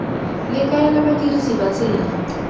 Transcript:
le kaela badirisi ba tsela